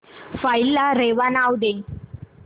file ला रेवा नाव दे